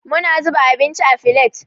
Muna zuba abinci a filet.